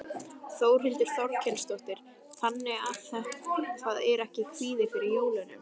Þórhildur Þorkelsdóttir: Þannig að það er ekki kvíði fyrir jólunum?